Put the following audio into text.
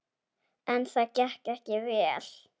En það gekk ekki vel.